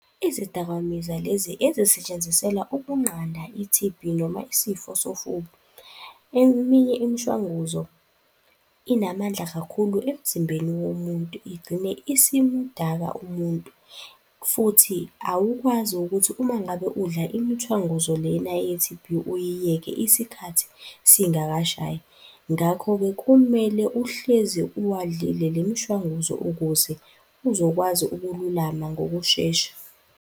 Izidakamizwa lezi ezisetshenziselwa ukunqanda i-T_B noma isifo sofuba. Eminye imishwanguzo inamandla kakhulu emzimbeni womuntu igcine isimudaka umuntu futhi awukwazi ukuthi uma ngabe udla imishwanguzo lena ye-T_B uyiyeke isikhathi singakashayi. Ngakho-ke kumele uhlezi uwadlile le mishwanguzo ukuze uzokwazi ukululama ngokushesha.